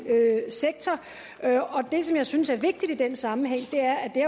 sektor det som jeg synes er vigtigt i den sammenhæng er at det